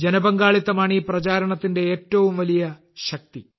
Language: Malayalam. ജനപങ്കാളിത്തമാണ് ഈ പ്രചാരണത്തിന്റെ ഏറ്റവും വലിയ ശക്തി